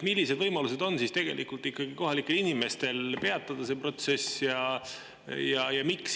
Millised võimalused on kohalikel inimestel see protsess peatada?